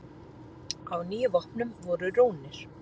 Á níu vopnum voru rúnir.